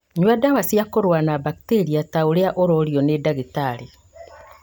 Nyua ndawa cia kũrũa na mbakteria ta ũrĩa ũrorio nĩ ndagĩtarĩ